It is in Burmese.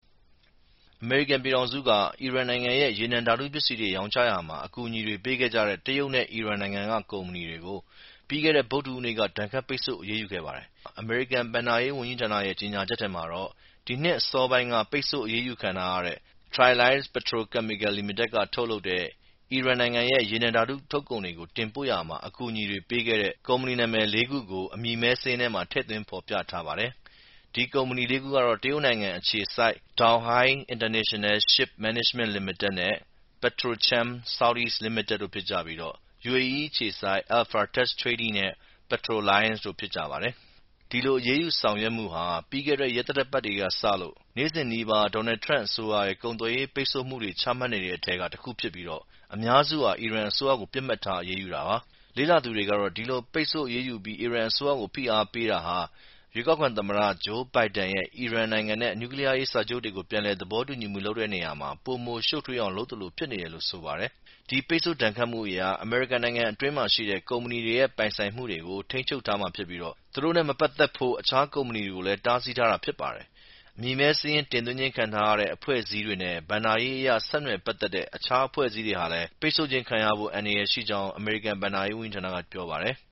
အမေရိကန်ပြည်တောင်စုက အီရန်နိုင်ငံရဲ့ ရေနံဓာတုပစ္စည်းတွေရောင်းချရာမှာ အကူအညီပေးခဲ့ကြတဲ့ တရုတ်နဲ့ယူအေအီးနိုင်ငံက ကုမ္ပဏီတွေကို ပြီးခဲ့တဲ့ ဗုဒ္ဓဟူးနေ့က ဒဏ်ခတ်ပိတ်ဆို့အရေးယူခဲ့ပါတယ်။ အမေရိကန် ဘဏ္ဍာရေးဝန်ကြီးဌာနရဲ့ ကြေညာချက်ထဲမှာတော့ ဒီနှစ်အစောပိုင်းထဲက ပိတ်ဆို့အရးယူခံထားရတဲ့ Triliance Petrochemical Co.Ltd ကထုတ်လုပ်တဲ့ အီရန်ရဲ့ ရေနံဓာတုထုတ်ကုန်တွေကိုတင်ပို့ရာမှာ အကူအညီပေးတဲ့ ကုမ္ပဏီနာမည်လေးခုကို အမည်မဲစာရင်းထဲ ထည့်သွင်းဖော်ပြထားပါတယ်။ အဲဒီကုမ္ပဏီလေးခုကတော့ တရုတ်နိင်ငံအခြေစိုက် Donghai International Ship Management Limited နဲ့ Petrochem South East Limited တို့ဖြစ်ကြပြီး UAE အခြေစိုက် Alpha Tech Trading နဲ့ Petroliance တို့ဖြစ်ကြပါတယ်။ ဒီလို အရေးယူဆောင်ရွက်မှုဟာ ပြီးခဲ့တဲ့ ရက်သတ္တပတ်တွေထဲကစလို့ နေ့စဉ်နီးပါး ဒေါ်နယ်ထရန့်အစိုးရရဲ့ ကုန်သွယ်ရေးပိတ်ဆို့မှုတွေချမှတ်နေတဲ့အထဲက တခုဖြစ်ပြီး အများစုဟာ အီရန်အစိုးရကို ပစ်မှတ်ထားအရေးယူတာပါ။ လေ့လာသူတွေကတော့ ဒီလိုပိတ်ဆို့အရေးယူပြီး အီရန်အစိုးရကို ဖိအားပေးတာဟာ ရွေးကောက်ခံသမ္မတ ဂျိူးဘိုင်ဒန်ရဲ့ အီရန်နိုင်ငံနဲ့နျူးကလီးယားစာချုပ်တွေကို ပြန်လည်သဘောတူညီမှုတွေလုပ်ဆောင်ရာမှာ ပိုမို ရှုပ်ထွေးအောင်လုပ်သလို ဖြစ်နေတယ်လို့ ဆိုပါတယ်။ ဒီပိတ်ဆို့ဒဏ်ခတ်မှုအရ အမေရိကန်နိုင်ငံအတွင်းမှာရှိတဲ့ ကုမ္ပဏီတွေရဲ့ ပိုင်ဆိုင်မှုတွေကို ထိန်းချုပ်ထားမှာဖြစ်ပြီး သူတို့နဲ့ မပက်သက်ဖို့ အခြားကုမ္ပဏီတွေကိုလည်း တားဆီးထားတာ ဖြစ်ပါတယ်။ အမည်မဲစာရင်း တင်သွင်းခြင်းခံထားရတဲ့အဖွဲ့အစည်းတွေနဲ့ဘဏ္ဍာရေးအရ ဆက်နွယ်ပက်သက်တဲ့ အခြား အဖွဲ့အစည်းတွေဟာလည်း ပိတ်ဆို့ခြင်းခံရဖို့ အန္တရာယ်ရှိကြောင်း အမေရိကန်ဘဏ္ဍာရေးဝန်ကြီးဌာနက ပြောပါတယ်။